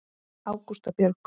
Ágústa Björg.